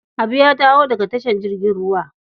Habu ya dawo daga tashar jirgin ruwa.